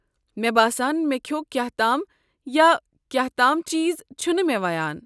مےٚ باسان مےٚ کھیوٚو كیاہ تام یا كیاہ تام چیز چھُنہٕ مےٚ ویان۔